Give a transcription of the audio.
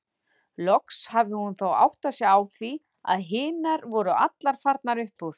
Loks hafði hún þó áttað sig á því að hinar voru allar farnar upp úr.